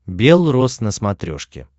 белрос на смотрешке